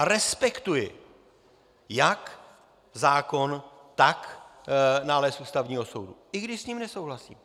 A respektuji jak zákon, tak nález Ústavního soudu, i když s ním nesouhlasím.